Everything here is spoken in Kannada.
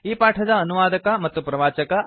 ಈ ಪಾಠದ ಅನುವಾದಕ ಮತ್ತು ಪ್ರವಾಚಕ ಐ